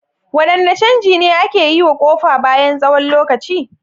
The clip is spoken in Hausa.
Wadanne canji ne ake yi wa kofa bayan tsawon lokaci?